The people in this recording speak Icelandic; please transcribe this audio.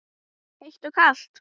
Kalt og heitt.